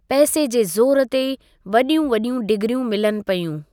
पैसे जे जोरु ते वॾियूं वॾियूं डिग्रीयूं मिलनि पेयूं।